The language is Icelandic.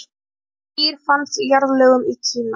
þetta dýr fannst í jarðlögum í kína